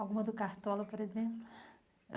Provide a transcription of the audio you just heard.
Alguma do Cartola, por exemplo?